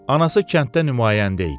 Anası kənddə nümayəndə idi.